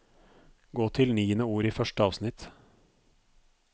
Gå til niende ord i første avsnitt